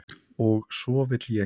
Og svo vil ég.